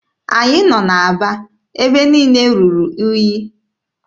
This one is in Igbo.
Anyị nọ n'Aba, ebe niile ruru unyi.